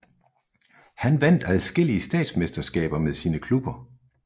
Han vandt adskillige statsmesterskaber med sine klubber